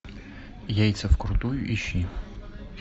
яйца вкрутую ищи